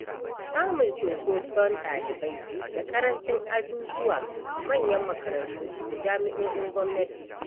Samun cumkoson ɗalibai da ƙaranci azuzuwa a manyan makarantu da jami'o'in gwamnati.